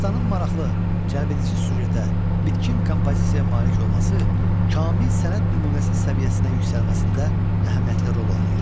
Dastanın maraqlı, cəlbedici süjetə, bitkin kompozisiyaya malik olması kamil sənət nümunəsi səviyyəsinə yüksəlməsində əhəmiyyətli rol oynayır.